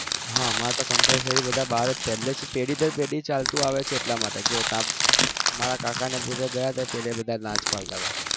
હા મારે compulsory બધા બાર જ પેલા થી પેઠી દર પેઠી ચાલતું આવે છે એટલા માટે મારા કાકા ને ગયા હતા એ પણ પેલા ના જ પડતા હતા